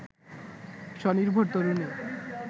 স্বনির্ভর তরুণী